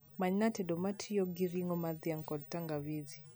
Manyna tedo ma tiyogi ringo mar dhiang kod tangawizi